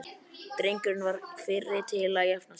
Drengurinn var fyrri til að jafna sig.